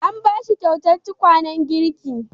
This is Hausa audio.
An ba shi kyautar tukwanen girki.